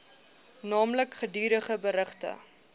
naamlik gedurige berigte